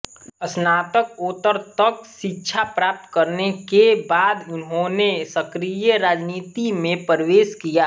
स्नातकोत्तर तक शिक्षा प्राप्त करने के बाद उन्होंने सक्रिय राजनीति में प्रवेश किया